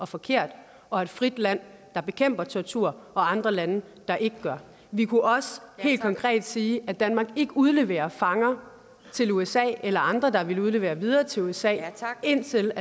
forkert og et frit land der bekæmper tortur og andre lande der ikke gør vi kunne også helt konkret sige at danmark ikke udleverer fanger til usa eller andre der vil udlevere dem videre til usa indtil